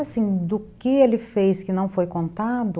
Assim, do que ele fez que não foi contado...